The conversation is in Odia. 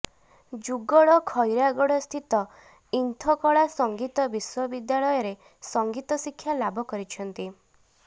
ଯୁଗଳ ଖଇରାଗଡସ୍ଥିତ ଇନ୍ଥକଳା ସଙ୍ଗୀତ ବିଶ୍ବ ବିଦ୍ୟାଲୟରେ ସଙ୍ଗୀତ ଶିକ୍ଷା ଲାଭ କରିଛନ୍ତି